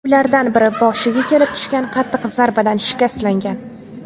Ulardan biri boshiga kelib tushgan qattiq zarbadan shikastlangan.